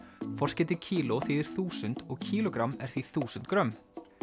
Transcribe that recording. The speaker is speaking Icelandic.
forskeytið kíló þýðir þúsund og kílógramm er því þúsund grömm